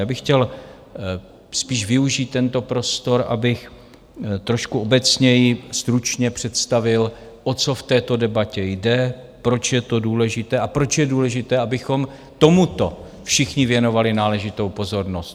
Já bych chtěl spíš využít tento prostor, abych trošku obecněji stručně představil, o co v této debatě jde, proč je to důležité a proč je důležité, abychom tomuto všichni věnovali náležitou pozornost.